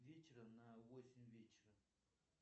вечера на восемь вечера